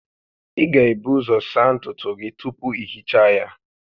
Ị ga-ebu ụzọ saa ntutu gị tupu ị hichaa ya